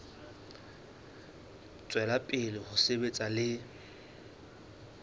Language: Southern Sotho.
tswela pele ho sebetsa le